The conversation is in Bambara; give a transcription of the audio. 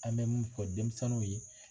An bɛ mun fɔ denmisɛnninw ye.